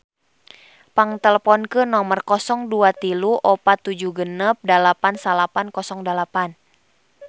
Pang teleponkeun nomer 0234 768908